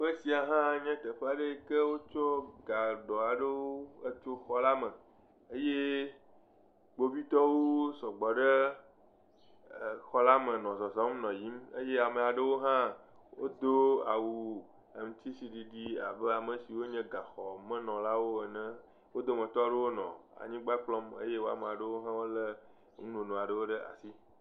Teƒe sia hã nye teƒe yike wokɔ dadua aɖewo etso xɔ la me eye kpovitɔwo aɖe nɔ zɔzɔm le xɔ la me nɔ yiyim eye ame aɖewo hã do awu ŋkusiɖiɖi abe amesi wonye gaxɔmenɔlawo ene. Wo dometɔ aɖewo nɔ anyigba kpɔm eye ame aɖewo hã le nunono aɖe ɖe asi.